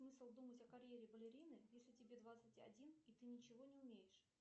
смысл думать о карьере балерины если тебе двадцать один и ты ничего не умеешь